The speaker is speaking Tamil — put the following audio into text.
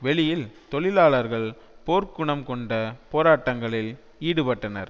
வெளியில் தொழிலாளர்கள் போர்க்குணம்கொண்ட போராட்டங்களில் ஈடுபட்டனர்